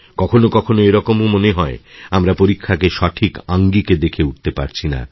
কখনও কখনওএরকমও মনে হয় আমরা পরীক্ষাকে সঠিক আঙ্গিকে দেখে উঠতে পারছি না